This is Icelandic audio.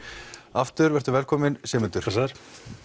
aftur vertu velkominn Sigmundur blessaður